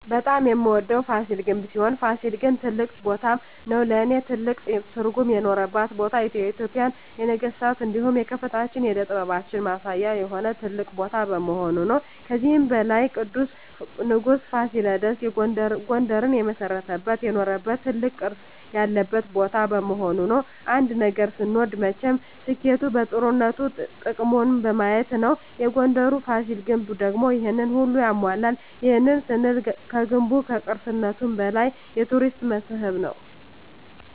በጣም የምወደዉ ፋሲል ግንብ ሲሆን ፋሲል ግን ትልቅ ቦታም ነዉ ለእኔ ትልቅ ትርጉም የኖረባት ቦታ የኢትጵያን የነገስታት እንዲሁም የከፍታችን የእደ ጥበባችን ማሳያ የሆነ ትልቅ ቦታ በመሆኑ ነዉ። ከዚህም በላይ ቅዱሱ ንጉስ ፋሲለደስ ጉንደርን የመሰረተበት የኖረበት ትልቅ ቅርስ ያለበት ቦታ በመሆኑ ነዉ። አንድ ነገር ስንወድ መቸም ስኬቱ ጥሩነቱ ጥቅሙን በማየት ነዉ የጉንደሩ ፋሲል ግንብ ደግሞ ይሄንን ሁሉ ያሟላል ይህንንም ስንል ገንቡ ከቅርስነቱም በላይ የቱሪስት መስህብ ነዉ።